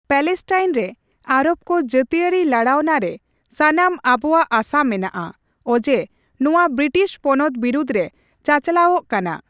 Palestine ᱨᱮ Arab ᱠᱚ ᱡᱟᱹᱛᱤᱭᱟᱹᱨᱤ ᱞᱟᱲᱟᱣᱱᱟ ᱨᱮ ᱥᱟᱱᱟᱢ ᱟᱵᱳᱣᱟᱜ ᱟᱥᱟ ᱢᱮᱱᱟᱜᱼᱟ, ᱚᱡᱮ ᱱᱚᱣᱟ ᱵᱤᱨᱤᱴᱤᱥ ᱯᱚᱱᱚᱛ ᱵᱤᱨᱩᱫᱨᱮ ᱪᱟᱼᱪᱟᱞᱟᱣᱚᱜ ᱠᱟᱱᱟ ᱾